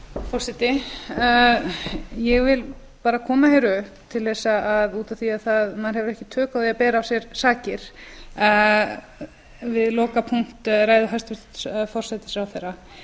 forseti ég vil koma hér upp út af því að maður hefur ekki tök á því að bera af sér sakir við lokapunkts ræðu hæstvirts forsætisráðherra